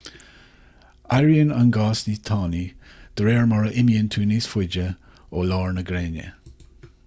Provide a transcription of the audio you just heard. éiríonn an gás níos tanaí de réir mar a imíonn tú níos faide ó lár na gréine